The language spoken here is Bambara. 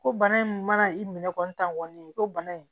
Ko bana in mana i minɛ kɔni tan kɔni ko bana in